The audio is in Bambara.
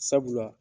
Sabula